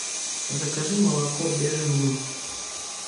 закажи молоко бежин луг